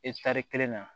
Etari kelen na